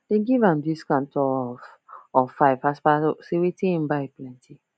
them give am discount of of five as per say wetin hin buy plenty